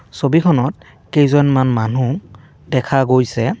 ছবিখনত কেইজনমান মানুহ দেখা গৈছে।